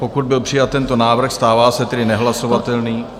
Pokud byl přijat tento návrh, stává se tedy nehlasovatelný...